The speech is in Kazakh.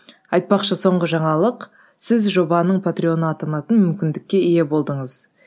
айтпақшы соңғы жаңалық сіз жобаның патреон атанатын мүмкіндікке ие болдыңыз